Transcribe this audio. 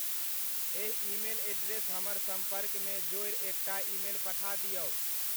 एहि email address हमर सम्पर्कमे जोड़ि एकटा ईमेल पठा दियौ